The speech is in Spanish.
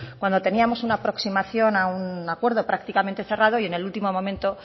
cuando teníamos una aproximación a un acuerdo prácticamente cerrado y en el último momento